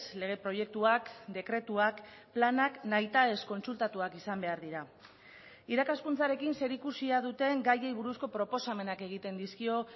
lege proiektuak dekretuak planak nahitaez kontsultatuak izan behar dira irakaskuntzarekin zerikusia duten gaiei buruzko proposamenak egiten dizkio